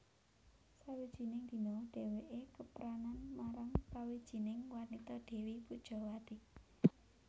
Sawijining dina dhèwèké kepranan marang sawijining wanita Dèwi Pujawati